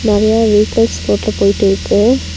நெறையா வெஹிகல்ஸ் ரோட்ல போயிட்டு இருக்கு.